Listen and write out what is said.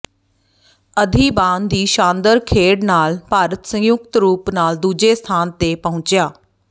ਅਧਿਬਾਨ ਦੀ ਸ਼ਾਨਦਾਰ ਖੇਡ ਨਾਲ ਭਾਰਤ ਸੰਯੁਕਤ ਰੂਪ ਨਾਲ ਦੂੱਜੇ ਸਥਾਨ ਤੇ ਪਹੁੰਚਿਆ